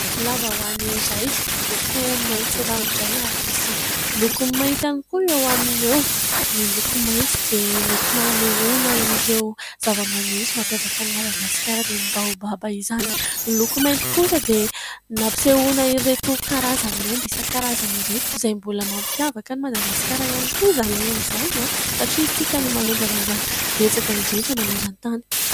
Lambahoany iray miloko maintso ranoray ary misy loko mainty iany koa eo aminy eo ny loko maintso dia netina anehoana ireo zava-maniry mampiavaka ny madagasikara dia ny baobaba izany. Ny loko mainty kosa dia nampisehoana ireto karazana omby isan'karazany ireto izay mbola mampiavaka ny madagasikara ihany koa izany omby izany an! Satria isika no manondrana izany betsaka indrindra maneran- tany.